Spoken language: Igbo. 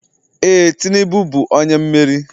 Ee, Tinubu bụ onye mmeri.